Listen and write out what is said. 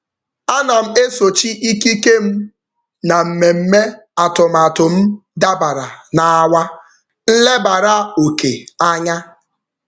Ana m esochi ikike m na mmemme atụmatụ m dabara na awa nlebara oke anya.